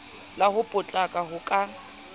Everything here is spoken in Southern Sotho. la ho potlaka ho ka